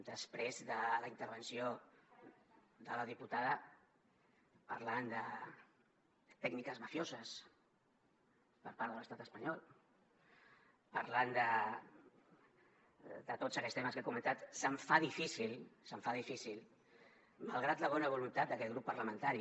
després de la intervenció de la diputada parlant de tècniques mafioses per part de l’estat espanyol parlant de tots aquests temes que ha comentat se’m fa difícil malgrat la bona voluntat d’aquest grup parlamentari